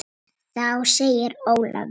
Kannski verður langt þangað til